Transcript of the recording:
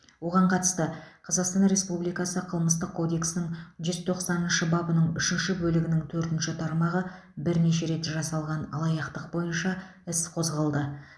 оған қатысты қазақстан республикасы қылмыстық кодексінің жүз тоқсаныншы бабының үшінші бөлігінің төртінші тармағы бірнеше рет жасалған алаяқтық бойынша іс қозғалды